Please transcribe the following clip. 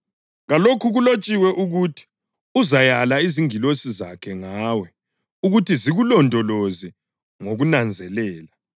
Kalokho kulotshiwe ukuthi: ‘Uzayala izingilosi zakhe ngawe ukuthi zikulondoloze ngokunanzelela;